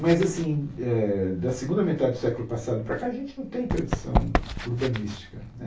Mas assim eh, da segunda metade do século passado para cá, a gente não tem tradição urbanística né.